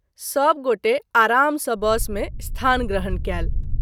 सभ गोटे आराम सँ बस में स्थान ग्रहण कएल।